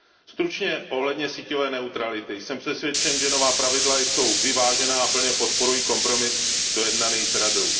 Stručně ohledně síťové neutrality jsem přesvědčen, že nová pravidla jsou vyvážená, a plně podporuji kompromis dojednaný s Radou.